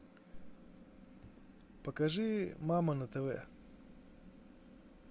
покажи мама на тв